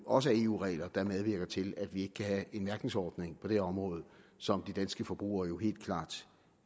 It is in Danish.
også er eu regler der medvirker til at vi ikke kan have en mærkningsordning på det område som de danske forbrugere jo helt klart